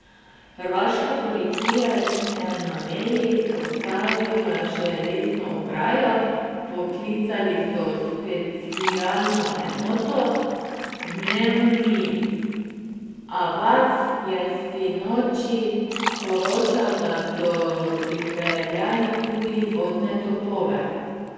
Hrvaška policija je na meji postavila železno ograjo, vpoklicali so specialno enoto, Dnevni Avaz je sinoči poročal, da so pripeljali tudi vodne topove.